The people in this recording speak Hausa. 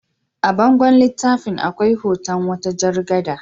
A bangon littafin akwai hoton wata jar gada.